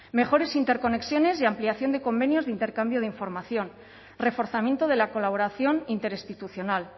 mejores interconexiones y ampliación de convenios de intercambio de información reforzamiento de la colaboración interinstitucional